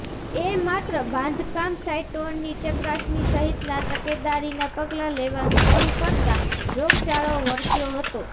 એ માત્ર બાંધકામ સાઇટોની ચકાસણી સહિતના તકેદારીના પગલાં લેવાનુ મોડું કરતાં રોગચાળો વકર્યો હતો